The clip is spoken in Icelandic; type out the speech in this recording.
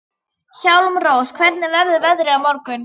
Hjálmrós, hvernig verður veðrið á morgun?